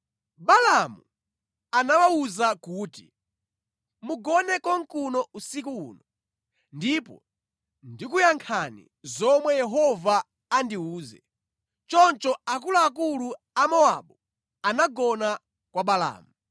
Balaamu anawawuza kuti, “Mugone konkuno usiku uno, ndipo ndikuyankhani zomwe Yehova andiwuze.” Choncho akuluakulu a Amowabu anagona kwa Balaamu.